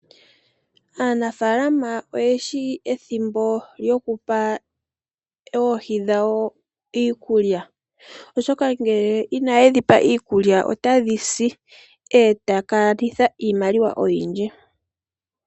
Aanafaalama oyeshi ethimbo lyokupa oohi dhawo iikulya, oshoka ngele inaye dhi pa iikulya otadhi si eta ya kanitha iimaliwa oyindji.